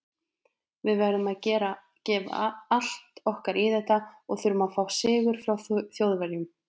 Við verðum að gefa allt okkar í þetta og þurfum að fá sigur frá Þjóðverjum.